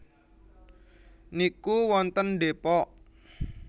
niku wonten Depok